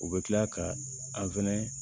U bɛ tila ka an fɛnɛ